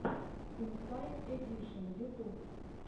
инсайд эдишен ютуб